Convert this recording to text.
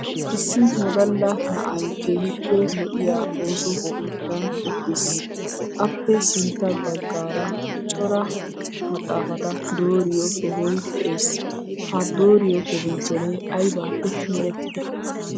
Issi wodalla na'ay keehippe lo'iya ooso keettan uttiis. Appe sintta baggaara cora maxxaafata dooriyo sohoy de'ees. Ha dooriyo adimiichcheree aybaappe merettidee?